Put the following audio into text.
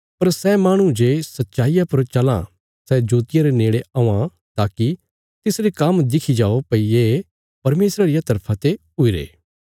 पर सै माहणु जे सच्चाईया पर चलां सै जोतिया रे नेड़े औआं ताकि तिसरे काम्म दिखी जाओ भई ये परमेशरा रिया तरफा ते हुईरे